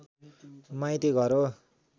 माईती घर हो